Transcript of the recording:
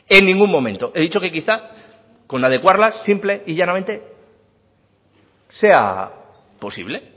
en ningún momento he dicho que quizá con adecuarlas simple y llanamente sea posible